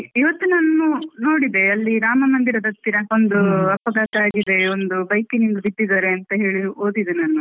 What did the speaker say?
ಇವತ್ತು ನನ್ನು ನೋಡಿದೆ ಅಲ್ಲಿ ರಾಮ ಮಂದಿರದತ್ತಿರ ಒಂದು ಅಪಘಾತ ಆಗಿದೆ, ಒಂದು ಬೈಕಿನಿಂದ ಬಿದ್ದಿದಾರೆ ಅಂತ ಹೇಳಿ ಓದಿದೆ ನಾನು.